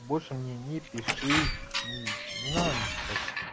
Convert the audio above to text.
больше мне не пиши и не надо мне писать